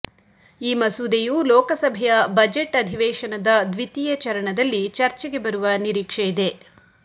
ಈ ಮಸೂದೆಯು ಲೋಕಸಭೆಯ ಬಜೆಟ್ ಅವೇಶನದ ದ್ವಿತೀಯ ಚರಣದಲ್ಲಿ ಚರ್ಚೆಗೆ ಬರುವ ನಿರೀಕ್ಷೆಯಿದೆ